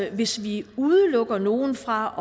at hvis vi udelukker nogen fra